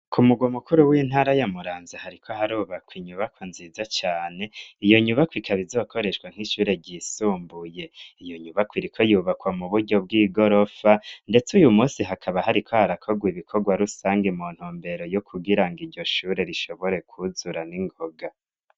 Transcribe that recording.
Ku mugwa mukuru w'intara ya Muramvya hariko harubakwa inyubako nziza cyane iyo nyubako ikaba izokoreshwa nk'ishure ryisumbuye iyo nyubako iriko yubakwa mu buryo bw'igorofa ndetse uyu munsi hakaba hari ko harakoga ibikorwa rusange mu ntumbero yo kugira ngo iryo shure rishobore kuzura n'ingoga.